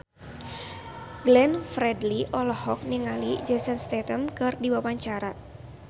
Glenn Fredly olohok ningali Jason Statham keur diwawancara